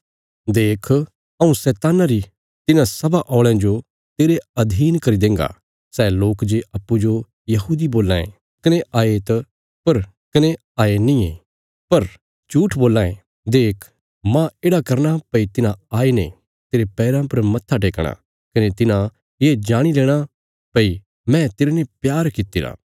देख हऊँ शैतान्ना री तिन्हां सभा औल़यां जो तेरे अधीन करी देन्गा सै लोक जे अप्पूँजो यहूदी बोलां ये कने हये नींये पर झूट्ठ बोलां ये देख मांह येढ़ा करना भई तिन्हां आईने तेरे पैराँ पर मत्था टेकणा कने तिन्हां ये जाणी लेणा भई मैं तेरने प्यार कित्तिरा